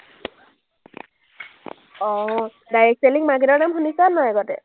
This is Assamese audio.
অ, direct selling market ৰ নাম শুনিছেনে নে নাই আগতে?